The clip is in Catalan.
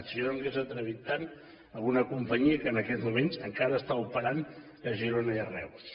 jo no m’hauria atrevit tant amb una companyia que en aquests moments encara està operant a girona i a reus